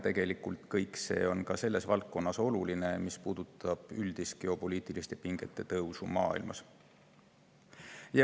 Tegelikult on kõik see oluline ka selles valdkonnas, mis puudutab üldist geopoliitiliste pingete tõusu maailmas.